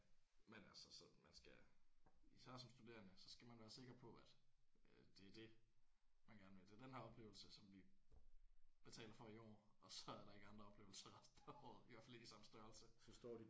Ja men altså sådan man skal især som studerende så skal man være sikker på at det er det man gerne vil. Det er den her oplevelse som vi betaler for i år og så er der ikke andre oplevelser resten af året. I hvert fald ikke i samme størrelse